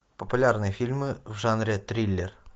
популярные фильмы в жанре триллер